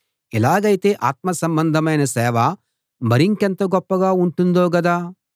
ఇలాగైతే ఆత్మ సంబంధమైన సేవ మరింకెంత గొప్పగా ఉంటుందో గదా